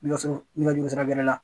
Nɛgɛso nɛgɛjuru sira bɛrɛ la